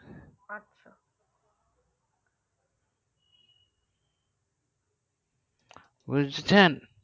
বুঝেছেন